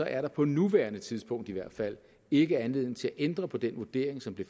er der på nuværende tidspunkt i hvert fald ikke anledning til at ændre på den vurdering som blev